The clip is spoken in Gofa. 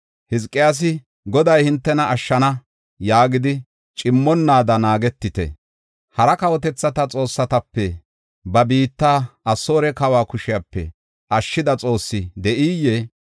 “Hizqiyaasi, ‘Goday hintena ashshana’ yaagidi cimmonnaada naagetite. Hara kawotethata xoossatape ba biitta Asoore kawa kushepe ashshida xoossi de7iyee?